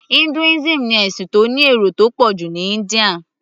Hinduism ni ẹ̀sìn tó ní èrò tó pọ̀ jù ní India